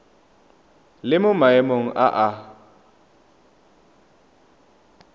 le mo maemong a a